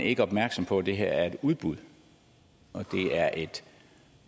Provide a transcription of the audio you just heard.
ikke opmærksom på at det her er et udbud og at det er et